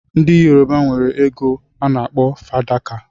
ndi yoruba enwere ego ana akpọ fadaka.